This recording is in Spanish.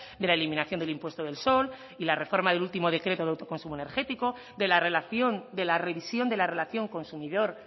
de la eliminación del impuesto del sol y la reforma del último decreto de autoconsumo energético de la relación de la revisión de la relación consumidor